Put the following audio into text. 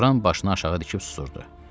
Loran başını aşağı dikib susurdu.